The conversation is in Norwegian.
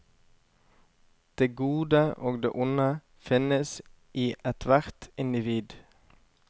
Det gode og det onde finnes i ethvert individ.